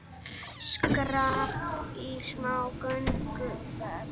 Skrapp í smá gönguferð